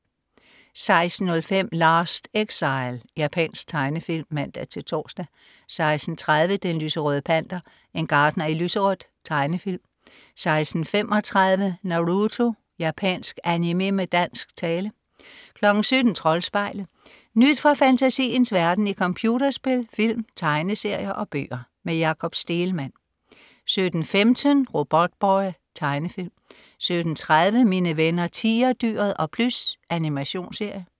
16.05 Last Exile. Japansk tegnefilm (man-tors) 16.30 Den lyserøde Panter. En gartner i lyserødt. Tegnefilm 16.35 Naruto. Japansk animé med dansk tale 17.00 Troldspejlet. Nyt fra fantasiens verden i computerspil, film, tegneserier og bøger. Jakob Stegelmann 17.15 Robotboy. Tegnefilm 17.30 Mine venner Tigerdyret og Plys. Animationsserie